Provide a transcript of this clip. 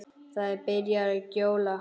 Það er byrjað að gjóla.